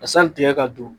Ka san tigɛ ka don